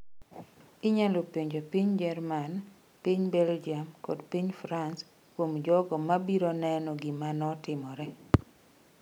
Inyalo penjo piny Jerman, piny Belgium kod piny France kuom jogo ma ibiro neno gima notimore''.